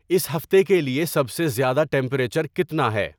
اس ہفتے کے لیے سب سے زیادہ ٹمپریچر کتنا ہے